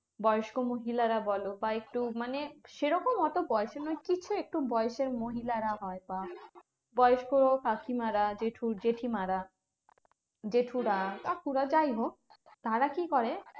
বয়স্ক মহিলারা বলো বা একটু মানে সেরকম অত বয়সও নয় কিচ্ছু, একটু বয়সের মহিলারা হয় বা বয়স্ক কাকিমারা, জেঠু জেঠিমারা, জেঠুরা, কাকুরা যাইহোক, তারা কি করে?